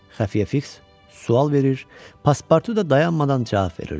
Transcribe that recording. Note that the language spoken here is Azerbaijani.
Xəfiyə Fiks sual verir, Paspartu da dayanmadan cavab verirdi.